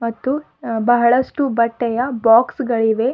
ಮತ್ತು ಬಹಳಷ್ಟು ಬಟ್ಟೆಯ ಬಾಕ್ಸ್ ಗಳಿವೆ.